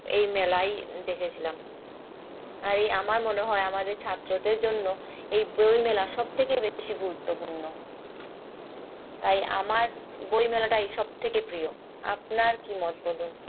এই মেলাই দেখেছিলাম আর এই আমার মনে হয় আমাদের ছাত্রদের জন্য এই বই মেলা সবথেকে বেশি গুরুত্বপূর্ণ তাই আমার বই মেলাটাই সবথেকে প্রিয় আপনার কি মন্তব্য